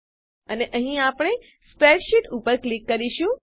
અને અહીં આપણે સ્પ્રેડશીટ ઉપર ક્લિક કરીશું